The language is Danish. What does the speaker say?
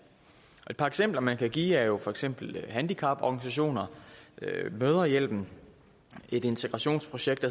et par eksempler man kan give er jo for eksempel handicaporganisationer mødrehjælpen et integrationsprojekt